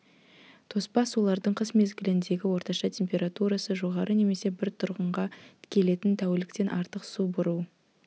тоспа сулардың қыс мезгіліндегі орташа температурасы жоғары немесе бір тұрғынға келетін тәуліктен артық су бұру